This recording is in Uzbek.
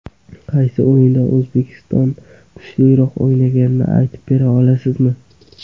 Qaysi o‘yinda O‘zbekiston kuchliroq o‘ynaganini aytib bera olasizmi?